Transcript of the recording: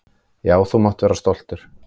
Já, þú mátt vera stoltur.